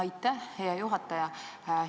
Aitäh, hea juhataja!